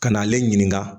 Ka na ale ɲininka